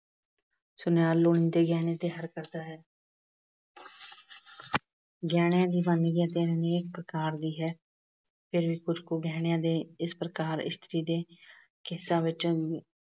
ਸੁਨਿਆਰ ਦੇ ਗਹਿਣੇ ਤਿਆਰ ਕਰਦਾ ਹੈ। ਗਹਿਣੀਆਂ ਦੀ ਵੰਨਗੀ ਅਨੇਕ ਪ੍ਰਕਾਰ ਦੀ ਹੈ। ਕੁਝ ਕੁ ਗਹਿਣੇ ਇਸ ਪ੍ਰਕਾਰ ਇਸਤਰੀ ਦੇ ਕੇਸਾਂ ਵਿੱਚ